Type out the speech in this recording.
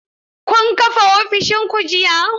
Kun kafa ofishin ku jiya?